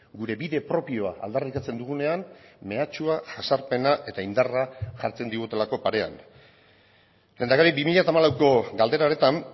gure bide propioa aldarrikatzen dugunean mehatxua jazarpena eta indarra jartzen digutelako parean lehendakari bi mila hamalauko galdera horretan